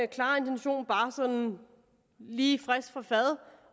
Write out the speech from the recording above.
klare intention bare sådan lige frisk fra fad